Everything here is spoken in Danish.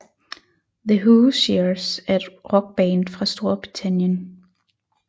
The Hoosiers er et Rockband fra Storbritannien